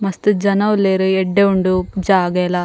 ಮಸ್ತ್ ಜನ ಉಲ್ಲೆರ್ ಎಡ್ಡೆ ಉಂಡು ಜಾಗೆಲ.